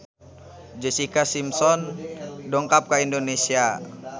Jessica Simpson dongkap ka Indonesia